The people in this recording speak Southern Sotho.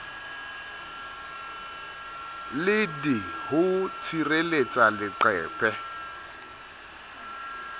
le d ho tshireletsa leqheku